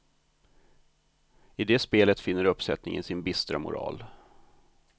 I det spelet finner uppsättningen sin bistra moral.